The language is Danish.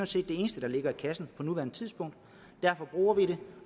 set det eneste der ligger i kassen på nuværende tidspunkt derfor bruger vi det